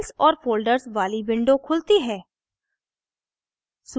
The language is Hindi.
files और folders वाली window खुलती है